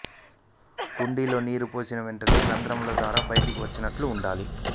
కుండీలో నీరు పోసిన వెంటనే రంధ్రాల ద్వారా బయటకు వచ్చేటట్టు వుండాలి